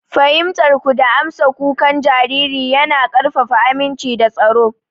Fahimtar ku da amsa kukan jariri yana ƙarfafa aminci da tsaro.